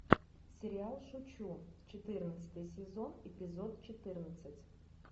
сериал шучу четырнадцатый сезон эпизод четырнадцать